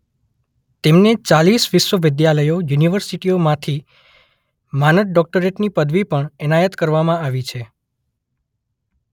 તેમને ચાલીસ વિશ્વવિદ્યાલયો યુનિવર્સિટીઓ માંથી માનદ ડોક્ટરેટની પદવી પણ એનાયત કરવામાં આવી છે.